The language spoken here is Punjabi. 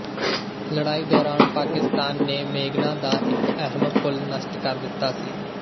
ਲੜਾਈ ਦੌਰਾਨ ਪਾਕਿਸਤਾਨ ਨੇ ਮੇਘਨਾ ਦਾ ਇੱਕ ਅਹਿਮ ਪੁਲ ਨਸ਼ਟ ਕਰ ਦਿੱਤਾ ਸੀ